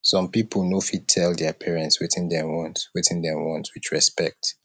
some pipo no fit tell dia parents wetin dem want wetin dem want with respect